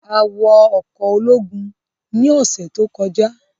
À wọ ọkọ ologun ni ọsẹ to kọja